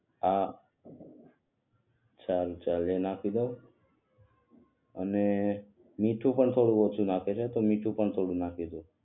હા સારુ ચાલ એ નાખી દવ અને મીઠું પણ થોડું ઓછું લાગે છે તો મીઠું પણ થોડુક નાખી દવ